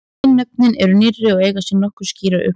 Hin nöfnin eru nýrri og eiga sér nokkuð skýran uppruna.